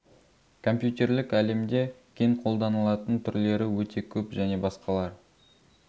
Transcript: компьютерлік әлемде кең қолданылатын түрлері өте көп және басқалар